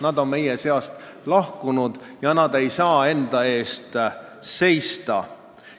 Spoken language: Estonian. Nad on meie seast lahkunud ega saa enda eest seista.